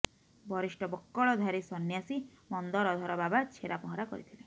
ବରିଷ୍ଠ ବକ୍କଳଧାରୀ ସନ୍ନ୍ୟାସୀ ମନ୍ଦରଧର ବାବା ଛେରା ପହଁରା କରିଥିଲେ